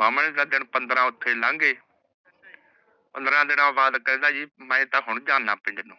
ਮਣ ਦੇ ਦਿਨ ਪੰਦ੍ਰਾ ਓਥੇ ਲੰਘ ਗਏ ਪੰਦ੍ਰਾ ਦਿਨੋ ਬਾਦ ਕਹਿੰਦਾ ਕੀ ਮੈ ਤਾ ਹੁਣ ਜਾਂਦਾ ਪਿੰਡ ਨੂ